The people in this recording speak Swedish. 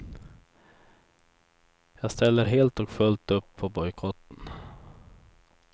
Jag ställer helt och fullt upp på bojkotten.